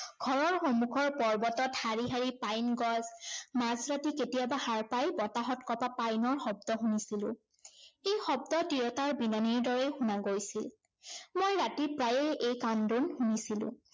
ঘৰৰ সন্মুখৰ পৰ্বতত শাৰী শাৰী পাইন গছ, মাজ ৰাতি কেতিয়াবা সাৰ পাই বতাহত কঁপা পাইনৰ শব্দ শুনিছিলো। এই শব্দ তিৰোতাৰ বিননিৰ দৰে শুনা গৈছিল। মই ৰাতি প্ৰায়েF এই কান্দোন শুনিছিলো।